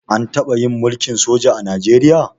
An taɓa yin mulkin soja a Najeriya?